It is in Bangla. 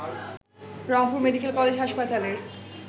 রংপুর মেডিকেল কলেজ হাসপাতালের